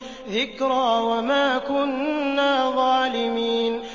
ذِكْرَىٰ وَمَا كُنَّا ظَالِمِينَ